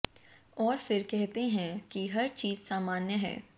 और फिर कहते हैं कि हर चीज सामान्य है